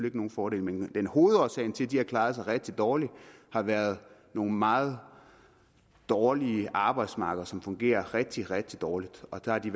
ikke nogen fordel men hovedårsagen til at de har klaret sig rigtig dårligt har været nogle meget dårlige arbejdsmarkeder som fungerer rigtig rigtig dårligt og der har de